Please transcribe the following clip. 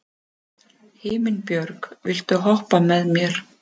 Himinbjörg, viltu hoppa með mér?